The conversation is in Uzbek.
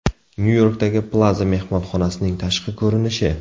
Nyu-Yorkdagi Plaza mehmonxonasining tashqi ko‘rinishi.